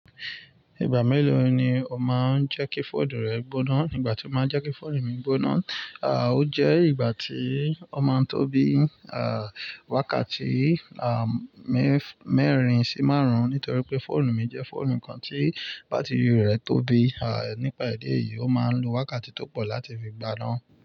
Ìgbà mélòó ni o máa ń jẹ́ kí fóònù rẹ gbóná? Nígbà tí mo máa jáké fóònù mi gbóná, à, ó jẹ́ ìgbà tí ó máa ń tóbi, à, wákàtí, à, mẹ́ẹ̀rin sí márùn-ún nítorí pé fóònù mi jẹ́ fóònù kan tí bátìrì rẹ̀ tóbi, à, nípa ìdí eyìí, ó máa ń lo wákàtí tó pọ̀ láti fi gbáá ná.